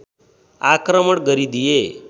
आक्रमण गरिदिए